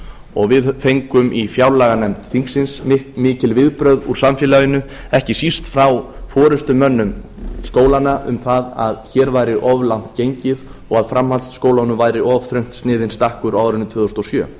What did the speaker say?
og við fengum í fjárlaganefnd þingsins mikil viðbrögð úr samfélaginu ekki síst frá forustumönnum skólanna um það að hér væri of langt gengið og að framhaldsskólunum væri of þröngt sniðinn stakkur á árinu tvö þúsund og sjö